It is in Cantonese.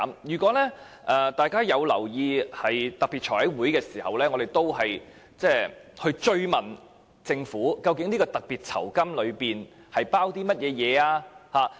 如果大家有留意特別財務委員會會議，我們曾追問政府，究竟酬金及特別服務包括甚麼？